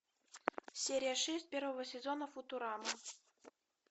серия шесть первого сезона футурама